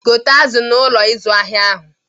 Gote azụ n'Ụlọ ịzụ ahịa ahụ.!